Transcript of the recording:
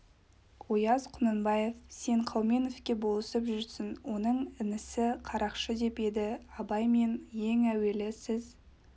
ояз құнанбаев сен қауменовке болысып жүрсің оның інісі қарақшы деп еді абай мен ең әуелі сіз